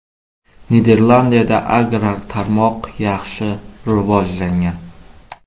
Niderlandiyada agrar tarmoq yaxshi rivojlangan.